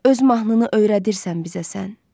Öz mahnını öyrədirsən bizə sən.